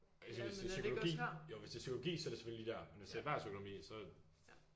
Eller hvis det er psykologi jo hvis det er psykologi så er det selvfølgelig lige der men hvis det er erhvervsøkonomi så